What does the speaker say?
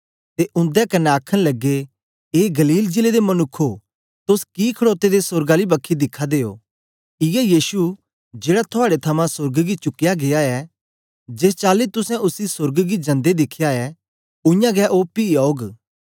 ते उंदे कन्ने आखन लगे ए गलील जिले दे मनुक्खो तोस कि खड़ोते दे सोर्ग आली बखी दिखा दे ओ इयै यीशु जेड़ा थुआड़े थमां सोर्ग गी चुकया गीया ऐ जेस चाली तुसें उसी सोर्ग गी जंदे दिखया ऐ उयांगै ओ पी औग